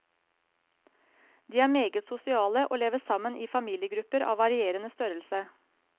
De er meget sosiale og lever sammen i familiegrupper av varierende størrelse.